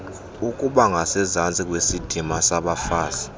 ukubangasezantsi kwesidima sabafazi